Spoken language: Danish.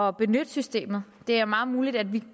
at benytte systemet det er meget muligt at vi